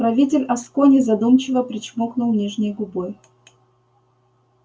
правитель аскони задумчиво причмокнул нижней губой